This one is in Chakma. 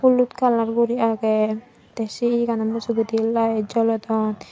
holud colour gori ageh teh sey eyegano mujongedi light jolodon.